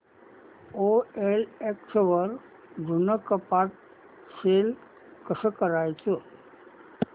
OLX वर जुनं कपाट सेल कसं करायचं